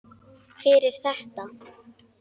Fyrir þetta.